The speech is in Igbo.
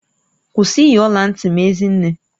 Kwụsị iyi ọla ntị m Ezinne!